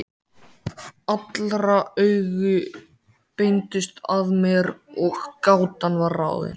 Allra augu beindust að mér og gátan var ráðin.